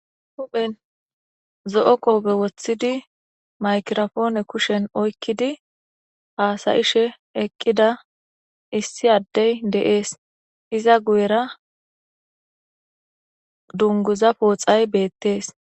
huphen zo7o koobe woththidi maykirofoone kushen oykkidi haasayishe eqqida issi addey de7ees iza guyera dunguza pooxay beettees